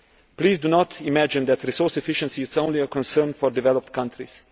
Please do not imagine that resource efficiency is only a concern for developed countries.